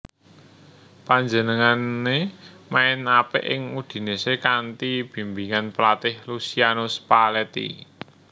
Panjenengané main apik ing Udinese kanthi bimbingan pelatih Luciano Spalletti